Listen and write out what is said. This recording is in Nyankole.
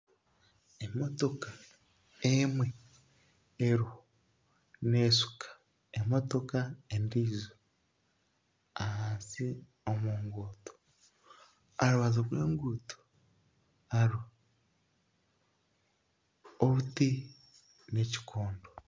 Emotoka emwe eriho neeshuka emotoka endiijo ahansi omu nguuto aha rubaju rw'enguuto hariho obuti n'ekikondo